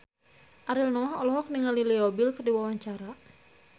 Ariel Noah olohok ningali Leo Bill keur diwawancara